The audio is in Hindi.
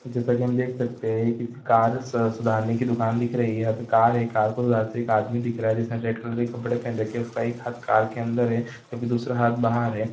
जैसा की हम देख सकते है कि कार स-सुधारने की दुकान दिख रही है। यहाँ पे कार है कार को सुधारते हुए एक आदमी दिख रहा है। जिसका रेड कलर की कपड़े पहन रखी है उसका एक हाथ कार के अंदर है दूसरा हाथ बाहर है।